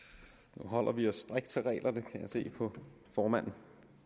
nu holder vi os strikt til reglerne kan jeg se på formanden